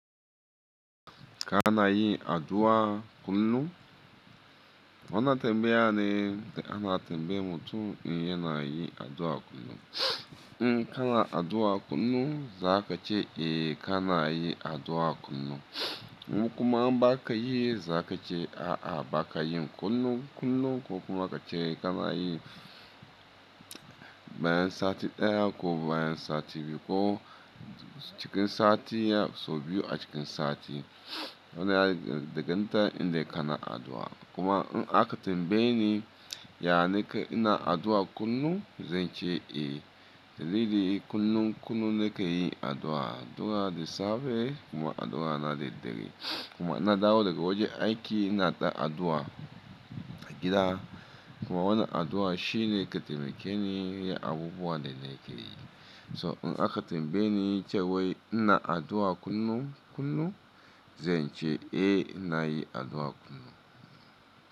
Ka na yin addu'a kullum? Wannan tambaya ne da ana tambayar mutum in ya na yi addu'a kullum. In ka na addu'a kullum, za ka ce eh, ka na yi addu'a kullum. Kuma in ba ka yi, za ka ce a'a ba ka yi kullum. Kullum ko kuma ka ce ka na yi bayan sati ɗaya ko bayan sati biyu ko cikin sati sau biyu a cikin sati. Wannan ya danganta in dai ka na addu'a. Kuma in aka tambaye ni, "Ya nake ina addu'a kullum?" zan ce eh. Dalili kullum, kullum nake yin addu'a. Addu'a da safe kuma addu'a na da dare. Kuma ina dawo daga wajen aiki ina ɗan addu'a a gida. Kuma wannan addu'a shi ne ke taimake ni yin abubuwa da nake yi. So in aka tambaye ni cewai ina addu'a kullum, kullum zan ce eh ina yi addu'a kullum.